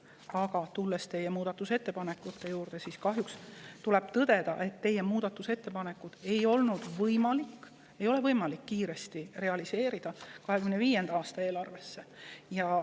Aga rääkides teie tehtud muudatusettepanekutest, tuleb kahjuks tõdeda, et teie ettepanekuid ei ole võimalik realiseerida nii kiiresti, et need jõuaksid 2025. aasta eelarvesse.